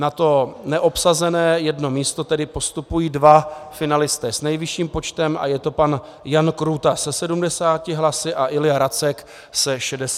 Na to neobsazené jedno místo tedy postupují dva finalisté s nejvyšším počtem a je to pan Jan Krůta se 70 hlasy a Ilja Racek se 63 hlasy.